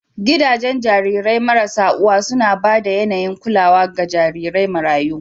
Gidajen jarirai marasa uwa suna ba da yAnayin kulawa ga jarirai marayu